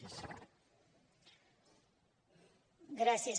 gràcies